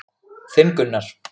Þinn Gunnar.